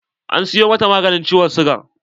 An siyo mata maganin ciwon siga.